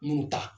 Munnu ta